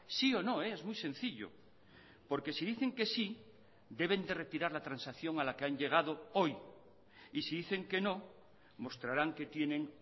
sí o no es muy sencillo porque si dicen que sí deben de retirar la transacción a la que han llegado hoy y si dicen que no mostrarán que tienen